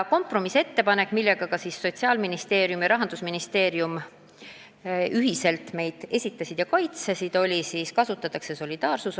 Kompromissettepanek, mille Sotsiaalministeerium ja Rahandusministeerium ühiselt esitasid, oli see, et kasutatakse solidaarsusosa.